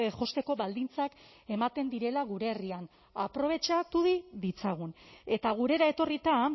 josteko baldintzak ematen direla gure herrian aprobetxatu ditzagun eta gurera etorrita